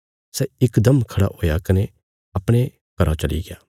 सै इकदम खड़ा हुया कने अपणे घरौ चलिग्या